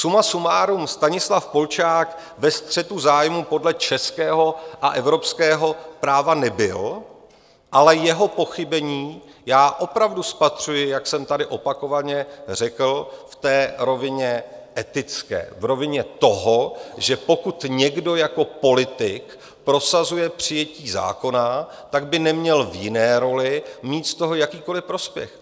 Suma sumárum, Stanislav Polčák ve střetu zájmů podle českého a evropského práva nebyl, ale jeho pochybení já opravdu spatřuji, jak jsem tady opakovaně řekl, v té rovině etické, v rovině toho, že pokud někdo jako politik prosazuje přijetí zákona, tak by neměl v jiné roli mít z toho jakýkoliv prospěch.